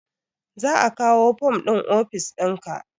Za a kawo fom ɗin ofis ɗinka